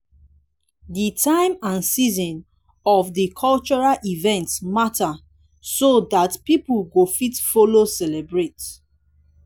di time and season of di cultural event matter so dat pipo go fit follow celebrate